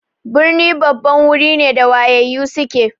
Birni babban wuri ne da wayayyu suke.